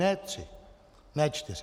Ne tři, ne čtyři.